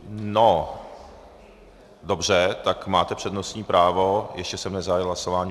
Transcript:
No, dobře, tak máte přednostní právo, ještě jsem nezahájil hlasování.